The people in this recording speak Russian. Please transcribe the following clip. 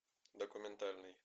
документальный